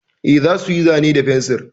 Eh, za su yi zane da fensir.